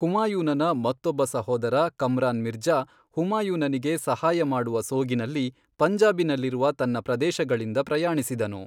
ಹುಮಾಯೂನನ ಮತ್ತೊಬ್ಬ ಸಹೋದರ ಕಮ್ರಾನ್ ಮಿರ್ಜಾ, ಹುಮಾಯೂನನಿಗೆ ಸಹಾಯ ಮಾಡುವ ಸೋಗಿನಲ್ಲಿ ಪಂಜಾಬಿನಲ್ಲಿರುವ ತನ್ನ ಪ್ರದೇಶಗಳಿಂದ ಪ್ರಯಾಣಿಸಿದನು.